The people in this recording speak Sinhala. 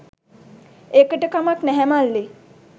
ඒකට කමක් නැහැ මල්ලී